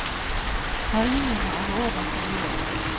Herjingene er over for i år.